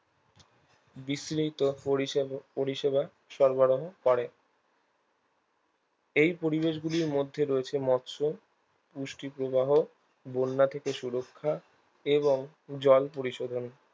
বিশ্লিত পরিষব পরিষেবা সরবরাহ করে এই পরিবেশগুলির মধ্যে রয়েছে মৎস পুষ্টিপ্রবাহ বন্যা থেকে সুরক্ষা এবং জল পরিশোধন